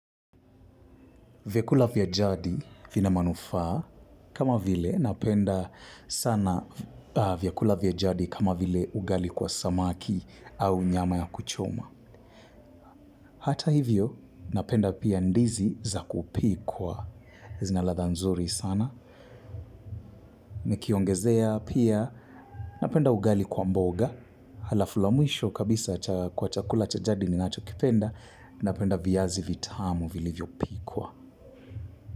Vyakula vya jadi vina manufaa kama vile napenda sana vyakula vya jadi kama vile ugali kwa samaki au nyama ya kuchoma. Hata hivyo napenda pia ndizi za kupikwa. Zina latha nzuri sana. Nikiongezea pia napenda ugali kwa mboga. Halafu la mwisho kabisa cha chakula cha jadi ninachokipenda napenda viazi vitamu vilivyo pikwa.